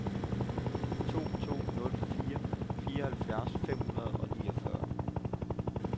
to to nul fire fireoghalvfjerds fem hundrede og niogfyrre